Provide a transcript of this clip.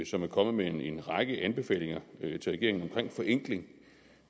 som er kommet med en række anbefalinger til regeringen omkring forenkling